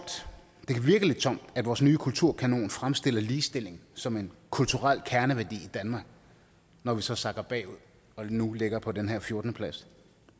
at vores nye kulturkanon fremstiller ligestilling som en kulturel kerneværdi i danmark når vi så sakker bagud og nu ligger på den her fjortende plads